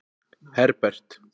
Herbert